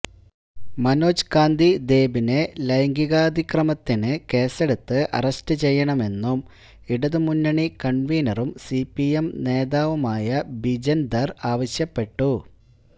മനോജ് കാന്തി ദേബിനെ ലൈംഗികാതിക്രമത്തിന് കേസെടുത്ത് അറസ്റ്റ് ചെയ്യണമെന്നും ഇടതുമുന്നണി കണ്വീനറും സിപിഎം നേതാവുമായ ബിജന് ധര് ആവശ്യപ്പെട്ടു